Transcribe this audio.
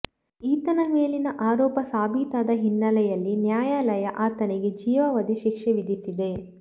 ಈತನ ಮೇಲಿನ ಆರೋಪ ಸಾಬೀತಾದ ಹಿನ್ನೆಲೆಯಲ್ಲಿ ನ್ಯಾಯಾಲಯ ಆತನಿಗೆ ಜೀವಾವಧಿ ಶಿಕ್ಷೆ ವಿಧಿಸಿದೆ